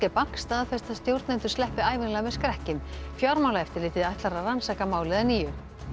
Bank staðfesta að stjórnendur sleppi ævinlega með skrekkinn fjármálaeftirlitið ætlar að rannsaka málið að nýju